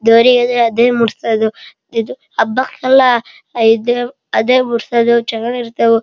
ಅದೇ ಮೂಡಿಸೋದು ಇದು ಹಬ್ಬಕ್ಕೆಲ್ಲ ಅದೇ ಮೂಡಿಸೋದು ಹೂವು ಚೆನ್ನಾಗಿರುತ್ತೆ ಹೂವು--